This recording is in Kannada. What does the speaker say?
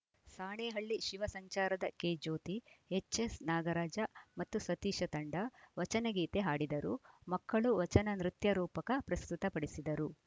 ಸಾಣೇಹಳ್ಳಿ ಶಿವ ಸಂಚಾರದ ಕೆಜ್ಯೋತಿ ಎಚ್‌ಎಸ್‌ನಾಗರಾಜ ಮತ್ತು ಸತೀಶ ತಂಡ ವಚನ ಗೀತೆ ಹಾಡಿದರು ಮಕ್ಕಳು ವಚನ ನೃತ್ಯ ರೂಪಕ ಪ್ರಸ್ತುತಪಡಿಸಿದರು